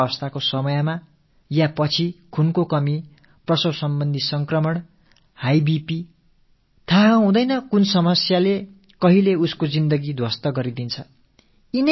பிரசவ காலத்திலோ அதற்குப் பின்னரோ ரத்தக் குறைபாடு பிரசவம் தொடர்பான நோய் தொற்றுக்கள் உயர் ரத்த அழுத்தம் என எந்த மாதிரியான இடர் அவர்களின் உயிருக்கு உலையாக அமையும் என்பதே தெரியாத அவல நிலை